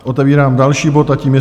Otevírám další bod a tím je